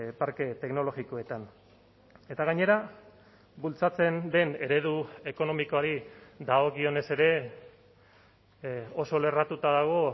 parke teknologikoetan eta gainera bultzatzen den eredu ekonomikoari dagokionez ere oso lerratuta dago